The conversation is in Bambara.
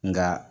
Nka